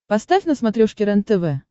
поставь на смотрешке рентв